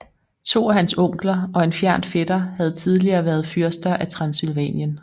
To af hans onkler og en fjern fætter havde tidligere været fyrster af Transsylvanien